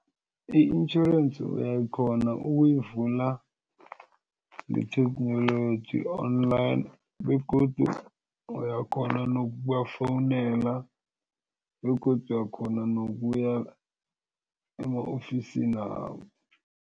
I-intjhorensi uyakghona ukuyivula ngetheknoloji online begodu uyakghona nokubafowunela begodu uyakghona nokuya ema-ofisini wabo.